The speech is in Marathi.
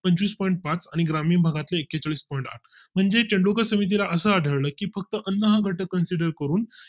पंचवीस point पाच आणि ग्रामीण भागातील एक्केचाळीस point आठ पण आहेत म्हणजे तेंडुलकर समिती ला असं आढळलं की फक्त अन्न हा घटक consider करून